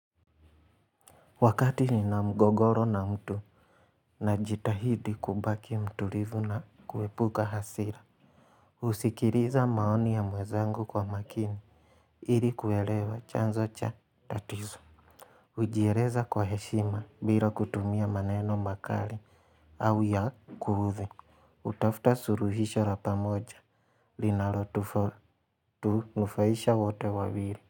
Wakati nina mgogoro na mtu. Najitahidi kubaki mtulivu na kuepuka hasira. Husikiliza maoni ya mwenzangu kwa makini. Ili kuelewa chanzo cha tatizo. Hujieleza kwa heshima bila kutumia maneno makali au ya kuudhi. Hutafuta suluhisho la pamoja. Linalotunufaisha wote wawili.